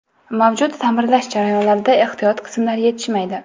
Mavjud ta’mirlash jarayonlarida ehtiyot qismlar yetishmaydi.